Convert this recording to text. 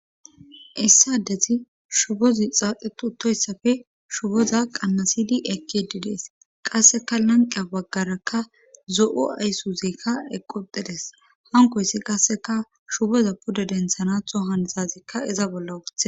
Issadezi shubozi xaaxetu uttoyssafe shuboza qannasidi ekdidees qasseka lanqeya baggaraka zo'o aysuuzeykka eqqoxides hankoyssi qasseka shuboza pude denthanatho hantazikka iza bolla woothe